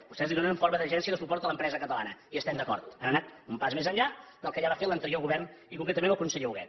vostès li donen en forma d’agència de suport a l’empresa catalana hi estem d’acord han anat un pas més enllà del que va fer l’anterior govern i concretament el conseller huguet